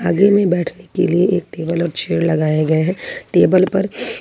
में बैठने के लिए एक टेबल और चेयर लगाए गए हैं टेबल पर--